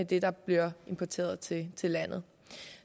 det der bliver importeret til til landet